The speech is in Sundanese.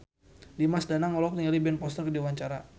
Dimas Danang olohok ningali Ben Foster keur diwawancara